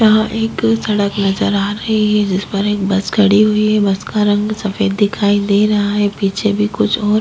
यहाँ एक सड़क नजर आ रही है जिस पर एक बस खड़ी हुई है बस का रंग सफेद दिखाई दे रहा है पीछे भी कुछ और --